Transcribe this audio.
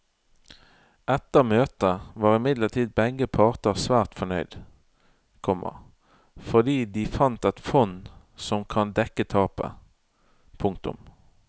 Etter møtet var imidlertid begge parter svært fornøyde, komma fordi de fant et fond som kan dekke tapet. punktum